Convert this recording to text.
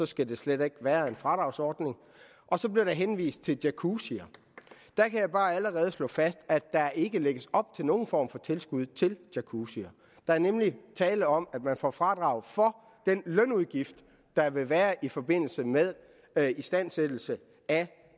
skal der slet ikke være en fradragsordning så blev der henvist til jacuzzier der kan jeg bare allerede slå fast at der ikke lægges op til nogen form for tilskud til jacuzzier der er nemlig tale om at man får fradrag for den lønudgift der vil være i forbindelse med istandsættelse af